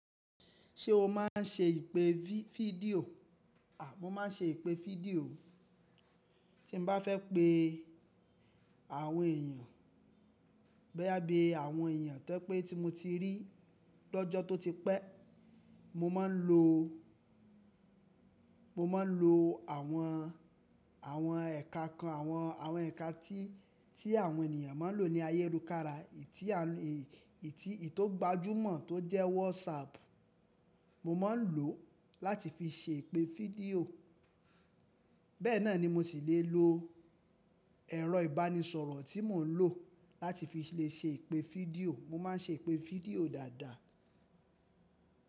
Ṣé o máa ń ṣe ìpè fídíò? A mo máa ń ṣe ìpè fídíò. Tí mo bá fẹ́ pé àwọn èèyàn, boya bí àwọn èèyàn tó jẹ pé tí mo ti rí lọ́jọ́ tó ti pẹ́, mo máa ń lo, mo máa ń lo àwọn, àwọn ẹ̀ka kan, àwọn, àwọn ẹ̀ka tí, tí àwọn ènìyàn máa ń lò ní ayé rù kára. Ètí àwọn èyí, ètí, ètí ó gbajúmọ̀ tó jẹ́ WhatsApp, mo máa ń lò láti fi ṣe ìpè fídíò. Bẹ́ẹ̀ náà ni mo sì lè lo ẹ̀rọ ìbánisọ̀rọ̀ tí mò ń lò láti fi lè ṣe ìpè fídíò. Mo máa ń ṣe ìpè fídíò dáadáa.